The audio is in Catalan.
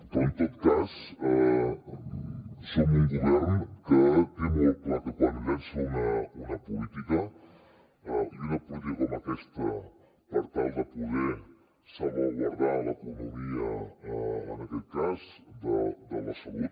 però en tot cas som un govern que té molt clar que quan llança una política com aquesta per tal de poder salvaguardar l’economia en aquest cas de la salut